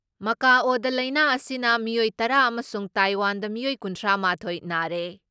ꯃꯀꯥꯑꯣꯗ ꯂꯥꯏꯅꯥ ꯑꯁꯤꯅ ꯃꯤꯑꯣꯏ ꯇꯔꯥ ꯑꯃꯁꯨꯡ ꯇꯥꯏꯋꯥꯟꯗ ꯃꯤꯑꯣꯏ ꯀꯨꯟꯊ꯭ꯔꯥ ꯃꯥꯊꯣꯏ ꯅꯥꯔꯦ ꯫